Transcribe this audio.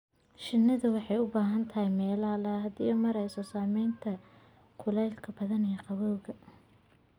Shinnidu waxay u baahan tahay meelo hadh leh si ay u yarayso saamaynta kulaylka ba'an iyo qabowga.